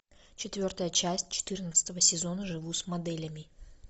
четвертая часть четырнадцатого сезона живу с моделями